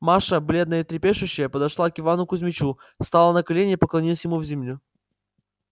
маша бледная и трепещущая подошла к ивану кузмичу стала на колени и поклонилась ему в землю